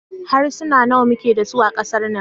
Harsuna nawa muke da su a kasar nan?